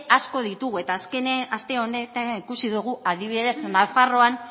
asko ditugu eta azken aste honetan ikusi dugu adibidez nafarroan